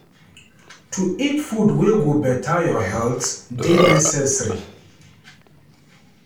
To eat food wey go beta your healt dey necessary.